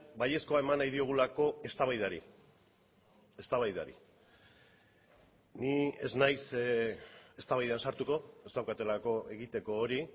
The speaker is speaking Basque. baiezkoa eman nahi diogulako eztabaidari eztabaidari ni ez naiz eztabaidan sartuko ez daukatelako egiteko hori